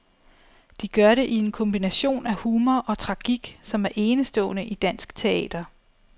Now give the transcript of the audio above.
De gør det i en kombination af humor og tragik, som er enestående i dansk teater.